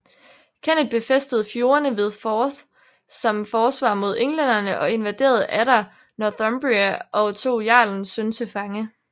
Kenneth befæstede fjordene ved Forth som forsvar mod englænderne og invaderede atter Northumbria og tog jarlens søn til fange